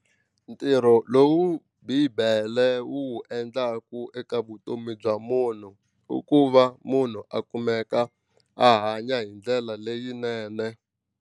Ntirho lowu bibele wu wu endlaku eka vutomi bya munhu i ku va munhu a kumeka a hanya hi ndlela leyinene.